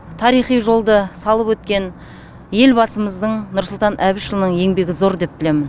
тарихи жолды салып өткен елбасымыздың нұрсұлтан әбішұлының еңбегі зор деп білемін